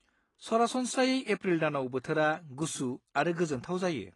सरासनस्रायै एप्रिल दानाव बोथोरा गुसु आरो गोजोनथाव जायो।